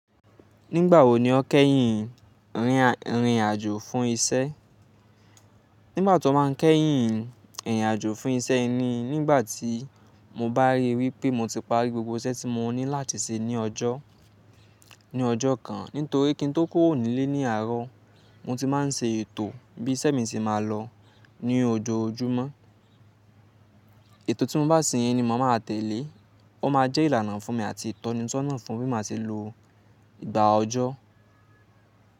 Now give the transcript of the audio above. Nígbà wo ni o kẹ́yìn rìnrìn àjò fún iṣẹ́? Nígbà tí to báa ń kẹ́yìn ìrìn àjò fún iṣẹ́ ni nígbà tí mo bá ríi wípé mo ti parí gbogbo iṣẹ́ tí mo ní láti ṣe ní ọjọ́, ní ọjọ́ kan. Nítorí kí n tó kúrò nílé ní àárọ̀, mo ti máa ń ṣe ètò bí iṣẹ́ mi ti máa lọ ní ojoojúmọ́. Ètò tí mo bá ṣe yẹn ni màá tẹ̀lé. Ó máa jẹ́ ìlànà fún mi àti ìtọ́nisọ́nà fún bí mo ṣe lo ìgbà ọjọ́.